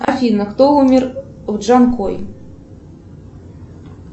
афина кто умер в джанкой